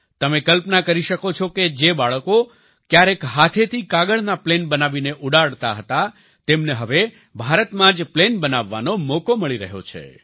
તમે કલ્પના કરી શકો છો કે જે બાળકો ક્યારેક હાથેથી કાગળના પ્લેન બનાવીને ઉડાડતા હતા તેમને હવે ભારતમાં જ પ્લેન બનાવવાનો મોકો મળી રહ્યો છે